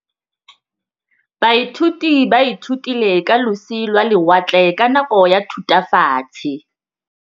Baithuti ba ithutile ka losi lwa lewatle ka nako ya Thutafatshe.